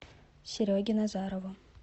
сереге назарову